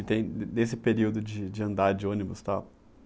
E tem, de desse período de de andar de ônibus, tal?